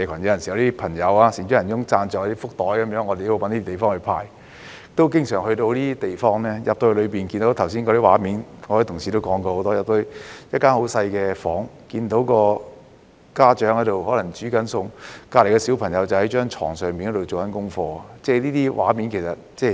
有時候，有些善長仁翁朋友贊助"福袋"，我們都要找地方派發，故此經常到訪這些地方，進去後便看見剛才同事多番描述的畫面，即一間十分細小的房間，家長可能在做菜，旁邊的小朋友可能在床上做功課，這些畫面其實很常見。